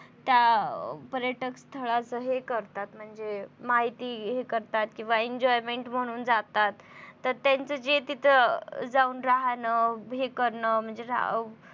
त्या पर्यटक स्थळांचं हे करतात म्हणजे माहिती हे करतात किंवा enjoyment म्हणून जातात. तर त्यांचं ते तिथं जाऊन राहून हे करणं म्हणजे राहू